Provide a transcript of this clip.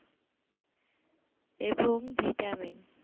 এবং vitamin